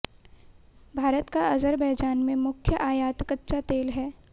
भारत का अजरबैजान से मुख्य आयात कच्चा तेल है